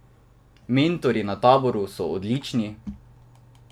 Mentorji na taboru so odlični!